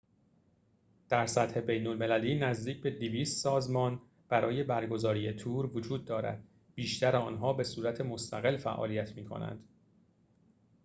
در سطح بین‌المللی نزدیک به ۲۰۰ سازمان برای برگزاری تور وجود دارد بیشتر آنها به صورت مستقل فعالیت می‌کنند